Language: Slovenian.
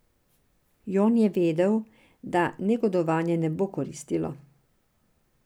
Jon je vedel, da negodovanje ne bo koristilo.